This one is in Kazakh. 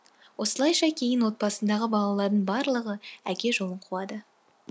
осылайша кейін отбасындағы балалардың барлығы әке жолын қуады